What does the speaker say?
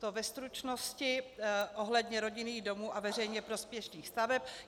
To ve stručnosti ohledně rodinných domů a veřejně prospěšných staveb.